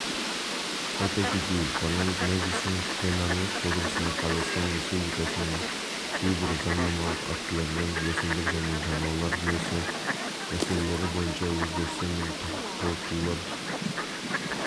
аталған кеңес өкілетті орган бекіткен типтік ереже негізінде құрылады яғни үйлестіру кеңесі консультативтік-кеңестік және бақылау органы